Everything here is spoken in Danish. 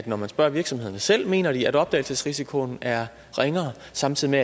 når man spørger virksomhederne selv mener de at opdagelsesrisikoen er ringere og samtidig